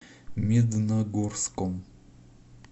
медногорском